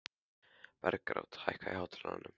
Bergrán, hækkaðu í hátalaranum.